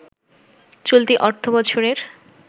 চলতি অর্থবছরের